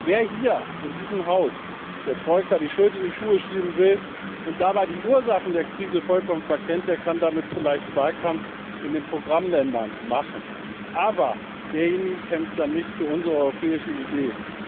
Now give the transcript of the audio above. Wer hier in diesem Haus der Troika die Schuld in die Schuhe schieben will und dabei die Ursachen der Krise vollkommen verkennt, der kann damit vielleicht Wahlkampf in den Programmländern machen, aber derjenige kämpft dann nicht für unsere europäische Idee.